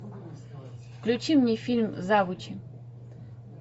включи мне фильм завучи